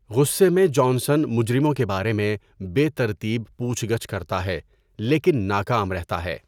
غصے میں جانسن مجرموں کے بارے میں بے ترتیب پوچھ گچھ کرتا ہے لیکن ناکام رہتا ہے۔